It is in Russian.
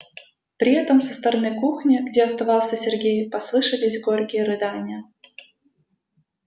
при этом со стороны кухни где оставался сергей послышались горькие рыдания